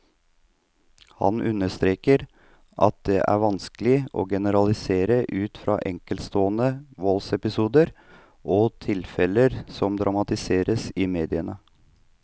Han understreker at det vanskelig å generalisere ut fra enkeltstående voldsepisoder og tilfeller som dramatiseres i mediene.